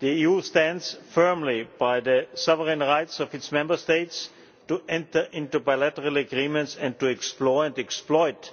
The EU stands firmly by the sovereign rights of its Member States to enter into bilateral agreements and to explore and exploit